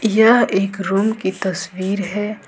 यह एक रूम की तस्वीर हैं।